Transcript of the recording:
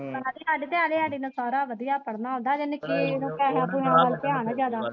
ਕੁੜੀ ਸਾਡੀ ਨੂੰ ਸਾਰਾ ਵਧੀਆ ਪੜਣਾ ਆਉਂਦਾ ਵਾਂ ਹਜੇ ਨਿੱਕੀ ਨੂੰ ਪੈਸਿਆਂ ਵੱਲ ਧਿਆਨ ਐਂ।